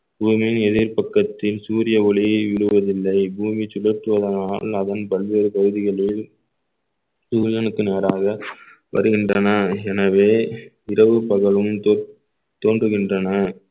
பூமியின் எதிர்பக்கத்தின் சூரிய ஒளியை விழுவதில்லை பூமி சுழற்றுவதனால் அதன் பல்வேறு பகுதிகளில் சூரியனுக்கு நேராக வருகின்றன எனவே இரவு பகலும் தோ~ தோன்றுகின்றன